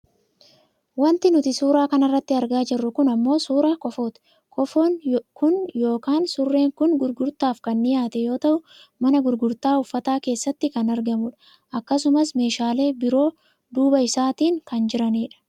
Wanti nuti suuraa kanarratti argaa jirru kun ammoo suuraa kofooti. Kofoon kun yookaan surreen kun gurgurtaaf kan dhiyaate yoo ta'u mana gurgurtaa uffataa keessatti kan argamu dha. akkasumas meeshaalee biroo duuba isaatiin kan jiranidha.